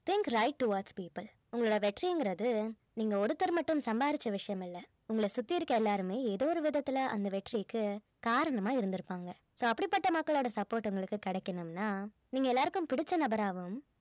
think right towards people உங்களோட வெற்றிங்கிறது நீங்க ஒருத்தர் மட்டும் சம்பாதிச்ச விஷயம் இல்ல உங்கள சுத்தி இருக்கிற எல்லாருமே ஏதோ ஒரு விதத்துல அந்த வெற்றிக்கு காரணமா இருந்திருப்பாங்க so அப்படிப்பட்ட மக்களோட support உங்களுக்கு கிடைக்கணும்னா நீங்க எல்லாருக்கும் பிடிச்ச நபராகவும்